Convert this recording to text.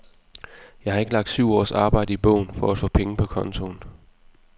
Jeg har ikke lagt syv års arbejde i bogen for at få penge på kontoen.